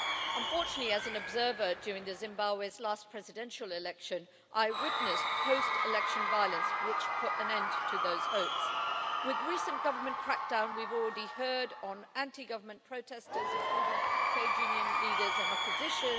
Unfortunately, as an observer during Zimbabwe's last presidential election, I witnessed post election violence which put an end to those hopes with recent government crackdowns we've already heard on anti government protesters, including trade union leaders and opposition.